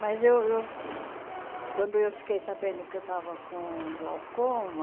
Mas, eu eu quando eu fiquei sabendo que eu estava com glaucoma,